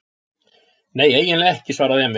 Nei, eiginlega ekki, svaraði Emil.